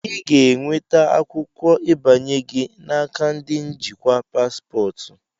Ị ga-enweta akwụkwọ ịbanye gị n'aka ndi njikwa paspọtụ.